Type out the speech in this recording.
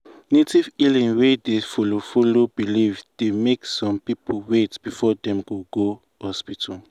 native healing wey dey follow follow belief dey make some people wait before dem go go hospital.